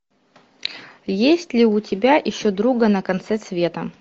есть ли у тебя ищу друга на конце света